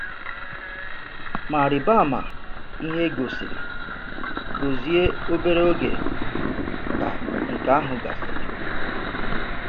Mà rị̀bà àmà ihe e gòsìrì Gozie obere oge ka nke ahụ gasịrị.